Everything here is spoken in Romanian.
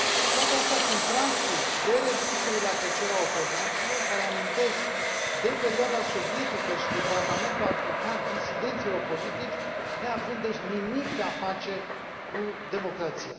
Toate astea sunt practici de reducere la tăcere a opozanților, care amintesc de perioada sovietică și de tratamentul aplicat disidenților politici, neavând deci nimic de a face cu democrația.